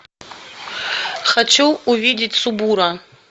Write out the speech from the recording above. хочу увидеть субура